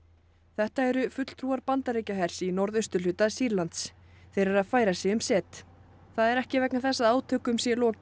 þetta eru fulltrúar Bandaríkjahers í norðausturhluta Sýrlands þeir eru að færa sig um set það er ekki vegna þess að átökum sé lokið